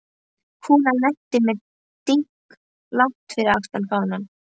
Kúlan lenti með dynkjum langt fyrir aftan fánann.